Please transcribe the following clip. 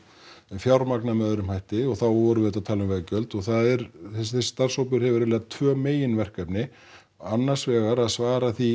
fjármagna með öðrum hætti og þá vorum við að tala um veggjöld og það er þessi starfshópur hefur eiginlega tvö meginverkefni annars vegar að svara því